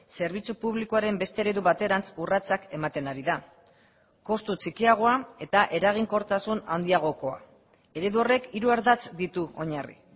zerbitzu publikoaren beste eredu baterantz urratsak ematen ari da kostu txikiagoa eta eraginkortasun handiagokoa eredu horrek hiru ardatz ditu oinarri